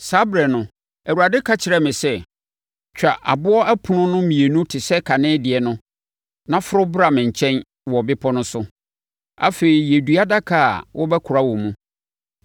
Saa ɛberɛ no, Awurade ka kyerɛɛ me sɛ, “Twa aboɔ ɛpono no mmienu te sɛ kane deɛ no na foro bra me nkyɛn wɔ bepɔ no so. Afei, yɛ dua adaka a wobɛkora wɔ mu.